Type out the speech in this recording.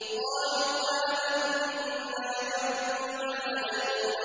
قَالُوا آمَنَّا بِرَبِّ الْعَالَمِينَ